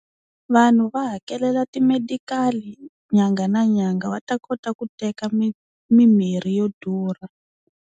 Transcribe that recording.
Vanhu va hakelela ti-medical nyangha na nyanga va ta kota ku teka mimirhi yo durha.